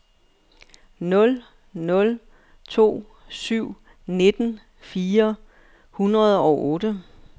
nul nul to syv nitten fire hundrede og otte